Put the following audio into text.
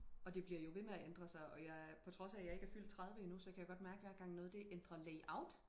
og det bliver jo ved med at ændre sig og jeg på trods af jeg ikke er fyldt tredive endnu så kan jeg godt mærke hver gang noget det ændrer layout